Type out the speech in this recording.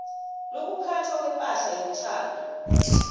lokuphathwa kwepahla yomtjhado